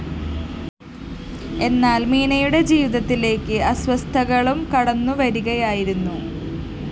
എന്നാല്‍ മീനയുടെ ജീവിതത്തിലേക്ക് അസ്വസ്ഥതകളും കടന്നു വരികയായിരുന്നു